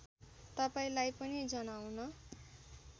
तपाईँलाई पनि जनाउन